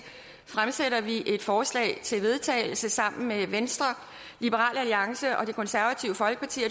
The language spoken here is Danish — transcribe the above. fremsætter vi et forslag til vedtagelse sammen med venstre liberal alliance og det konservative folkeparti og